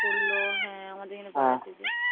পড়লো হ্যাঁ আমাদের এখানে